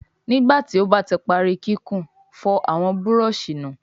Nígbàtí o bá tí parí kíkún, fòr àwọn Búrọ̀ọ̀ṣì nù!